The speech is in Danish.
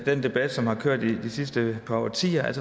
den debat som har kørt i de sidste par årtier